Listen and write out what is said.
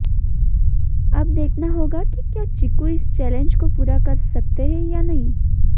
अब देखना होगा कि क्या चीकू इस चैलेंज को पूरा कर सकते हैं या नहीं